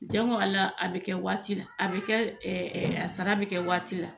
Jango ali a bɛ kɛ waati la , a bɛ kɛ a sara bɛ kɛ waati la.